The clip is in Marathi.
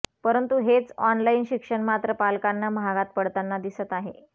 परंतु हेच ऑनलाइन शिक्षण मात्र पालकांना महागात पडताना दिसत आहे